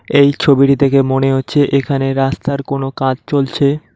এই ছবিটি দেখে মনে হচ্ছে এখানে রাস্তার কোনো কাজ চলছে।